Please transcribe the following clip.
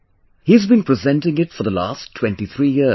' He has been presenting it for the last 23 years